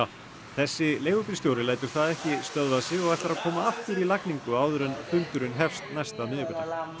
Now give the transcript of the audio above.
þessi leigubílstjóri lætur það ekki stöðva sig og ætlar að koma aftur í lagningu áður en fundurinn hefst næsta miðvikudag